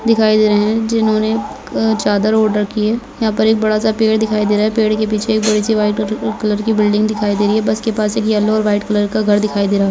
जिन्होंने चादर आर्डर किया यहां पर एक बड़ा सा पेड़ दिखाई दे रहा है पेड़ के पीछे कलर की बिल्डिंग दिखाई दे रही है बस के पास एक पीला और वाइट कलर का घर दिखाई दे रहा है।